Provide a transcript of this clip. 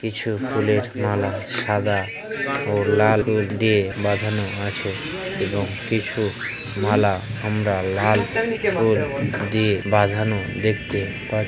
কিছুফুলেরমালাসাদা ও লাল ফুল দিয়েবাঁধানোআছে এবং কিছুমালা আমরা লাল ফুলদিয়ে বাঁধানোদেখতেপা--